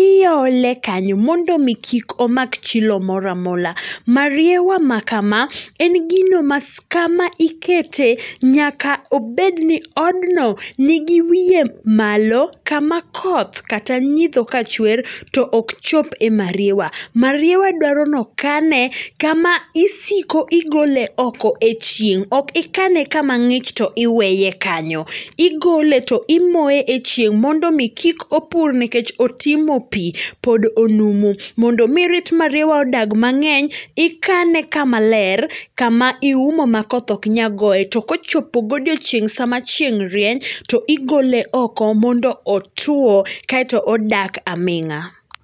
Iole kanyo mondo omi kik omak chilo moro amora. Mariewa makama, en gino ma kama ikete, nyaka obed ni odno ni go wiye malo, kama koth kata nyidho ka chwer to ok chop e mariewa. Mariewa dwaro ni okane kama isiko igolo oko e chieng'. Ok ikane kama ng'ich to iweye kanyo. Igole to imoye e chieng' mondo omi kik opur nikech otimo pi, pod onumu. Mondo omi rit mariwa odag mang'eny, ikane kama ler, kama iuomo ma koth ok nyal goye, to ka ochopo godieching' sama chieng' rieny, to igole oko mondo otwo, kaeto odak aming'a.